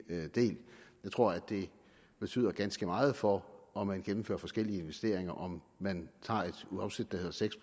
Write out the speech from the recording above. del jeg tror at det betyder ganske meget for om man gennemfører forskellige investeringer om man tager et afsæt der hedder seks